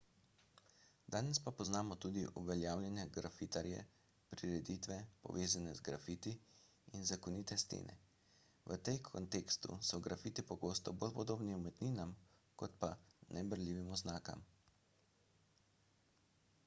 danes pa poznamo tudi uveljavljene grafitarje prireditve povezane z grafiti in zakonite stene v tem kontekstu so grafiti pogosto bolj podobni umetninam kot pa neberljivim oznakam